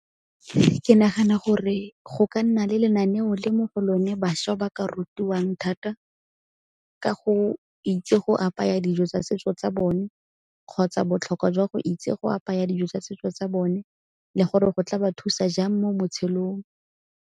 Ke nagana gore go ka nna le lenaneo le mo go lone bašwa ba ka rutiwang thata ka go itse go apaya dijo tsa setso tsa bone, kgotsa botlhokwa jwa go itse go apaya dijo tsa setso tsa bone le gore go tla ba thusa jang mo botshelong.